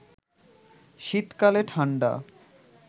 শীতকালে ঠাণ্ডা